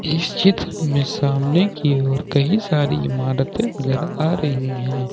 इस चित्र में सामने की ओर कई सारी इमारते नजर आ रही है।